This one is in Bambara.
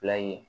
ye